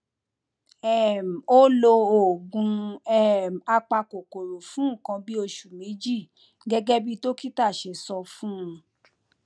um ó lo oògùn um apakòkòrò fún nǹkan bí oṣù méjì gẹgẹ bí dókítà ṣe sọ fún un